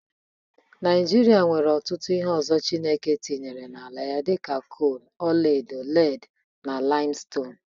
Naijịrịa nwere ọtụtụ ihe ọzọ Chineke tinyere n'ala ya dị ka kolu, ola edo, ledi na lim ston.